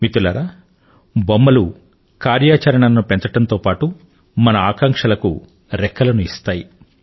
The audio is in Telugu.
మిత్రులారా బొమ్మలు కార్యాచరణను పెంచడంతో పాటు మన ఆకాంక్షలకు రెక్కలను ఇస్తాయి